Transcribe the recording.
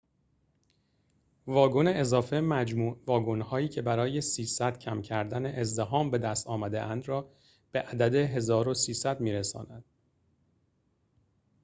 ۳۰۰ واگن اضافه مجموع واگن‌هایی که برای کم کردن ازدحام بدست آمده‌اند را به عدد ۱۳۰۰ می‌رساند